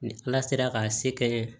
Ni ala sera k'a se kɛ